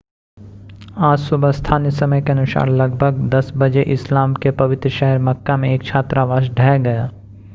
आज सुबह स्थानीय समय के अनुसार लगभग 10 बजे इस्लाम के पवित्र शहर मक्का में एक छात्रावास ढह गया